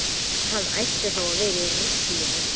Hann ætti þá að vera í ruslinu.